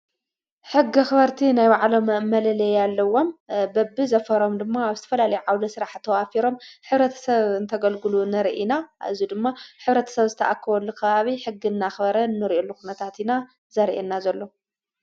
ሕጊ ኽበርቲ ናይ ባዕሎም መለለየ ያለዎም በብ ዘፈሮም ድማ ኣብ ስትፈላሊ ዓውደ ሥራሕ ተዋፊሮም ኅብረት ሰብ እንተገልግሉ ነርኢና ኣዙ ድማ ኅብረት ሰብ ዝተኣክወሉ ::ኽባብ ሕጊ እና ኽበረን ኑርእኢሉኽነታትኢና ዘርየና ዘሎ